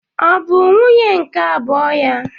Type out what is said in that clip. Ọ bụ nwunye nke abụọ ya?